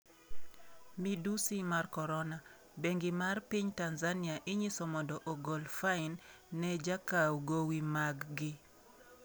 Midusi mar korona: Bengi mag piny Tanzania inyiso mondo ogol fine ne jokaw gowi mag gi